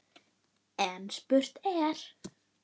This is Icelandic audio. En spurt er: